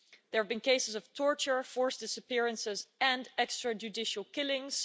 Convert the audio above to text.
There have been cases of torture, forced disappearances and extra-judicial killings.